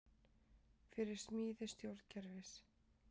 Fyrir smíði stjórnkerfis